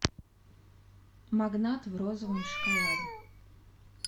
магнат в розовом шоколаде